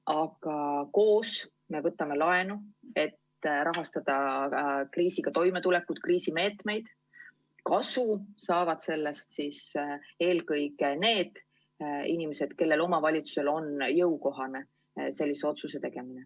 Aga koos me võtame laenu, et rahastada kriisiga toimetulekut, kriisimeetmeid, ent kasu saavad sellest eelkõige need inimesed, kelle omavalitsusele on jõukohane sellise otsuse tegemine.